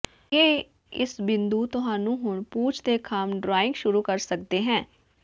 ਇਹ ਇਸ ਬਿੰਦੂ ਤੁਹਾਨੂੰ ਹੁਣ ਪੂਛ ਦੇ ਖੰਭ ਡਰਾਇੰਗ ਸ਼ੁਰੂ ਕਰ ਸਕਦੇ ਹੈ